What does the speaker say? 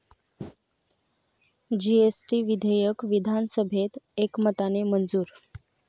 GST विधेयक विधानसभेत एकमताने मंजूर